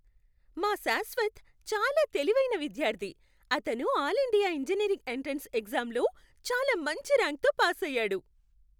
మా శాశ్వత్ చాలా తెలివైన విద్యార్థి! అతను ఆల్ ఇండియా ఇంజనీరింగ్ ఎంట్రన్స్ ఎగ్జామ్లో చాలా మంచి ర్యాంక్తో పాసయ్యాడు.